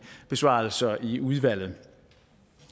besvarelser i udvalget